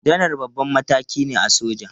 Janar babban mataki ne a soja.